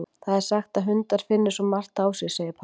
Það er sagt að hundar finni svo margt á sér, segir Palli.